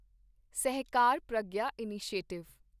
Sahakar Pragya initiative